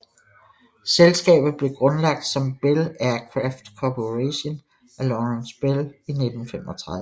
Selskabet blev grundlagt som Bell Aircraft Corporation af Lawrence Bell i 1935